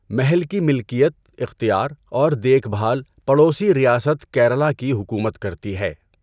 محل کی ملکیت، اختیار اور دیکھ بھال پڑوسی ریاست کیرالہ کی حکومت کرتی ہے۔